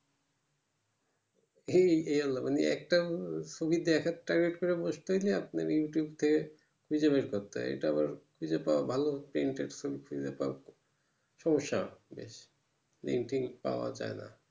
এই এই আল্লা মানে একটা সুবিধা এক একটা করে বসতেছে আপনার youtube থেকে খুঁজে বের করতে এটা আবার খুঁজে পাওয়ার ভালো একটা in-text full সমস্যা আছে বেশ মানে link টিং পাওয়া যাই না